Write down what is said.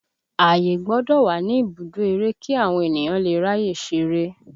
Ààyè gbọ́dọ̀ wà ní ibùdó eré kí àwọn ènìyàn lè ráyè ṣeré